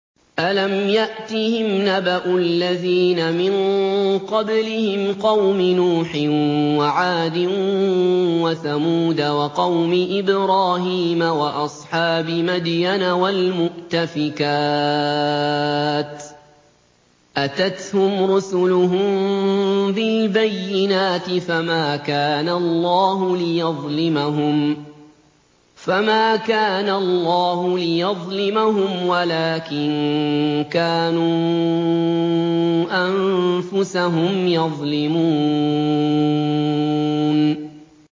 أَلَمْ يَأْتِهِمْ نَبَأُ الَّذِينَ مِن قَبْلِهِمْ قَوْمِ نُوحٍ وَعَادٍ وَثَمُودَ وَقَوْمِ إِبْرَاهِيمَ وَأَصْحَابِ مَدْيَنَ وَالْمُؤْتَفِكَاتِ ۚ أَتَتْهُمْ رُسُلُهُم بِالْبَيِّنَاتِ ۖ فَمَا كَانَ اللَّهُ لِيَظْلِمَهُمْ وَلَٰكِن كَانُوا أَنفُسَهُمْ يَظْلِمُونَ